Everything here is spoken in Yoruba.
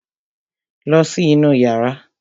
Lọ sí inú yàrá!